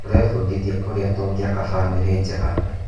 Tũrebundithia ũrĩa tũngĩaka bamĩrĩ njega.